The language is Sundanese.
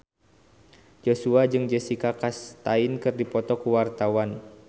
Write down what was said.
Joshua jeung Jessica Chastain keur dipoto ku wartawan